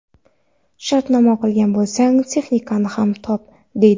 Shartnoma qilgan bo‘lsang, texnikani ham top, deydi.